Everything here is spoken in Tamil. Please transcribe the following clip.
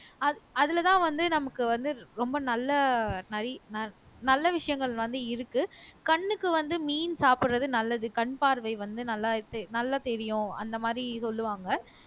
அது அதுலதான் வந்து நமக்கு வந்து ரொம்ப நல்ல நறி நல்ல விஷயங்கள் வந்து இருக்கு கண்ணுக்கு வந்து மீன் சாப்பிடுறது நல்லது கண் பார்வை வந்து நல்லா தெ நல்லா தெரியும் அந்த மாதிரி சொல்லுவாங்க